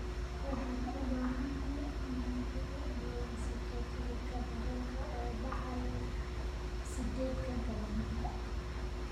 Waxaan u baahanahay inaad ii ballansato tigidh tareen oo baxaya 8 galabnimo